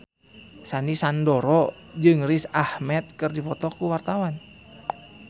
Sandy Sandoro jeung Riz Ahmed keur dipoto ku wartawan